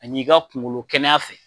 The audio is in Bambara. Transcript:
An'i ka kunkolo kɛnɛya fɛ.